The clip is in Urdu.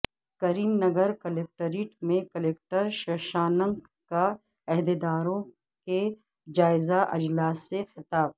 کریم نگرکلکٹریٹ میں کلکٹر ششانک کا عہدیداروں کے جائزہ اجلاس سے خطاب